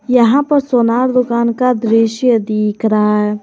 यहां पर सोनार दुकान का दृश्य दिख रहा है।